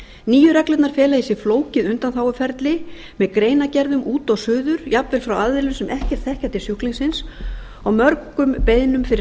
nýju reglurnar fela í sér flókið undanþáguferli með greinargerðum út og suður jafnvel frá aðilum sem ekkert þekkja til sjúklingsins og mörgum beiðnum fyrir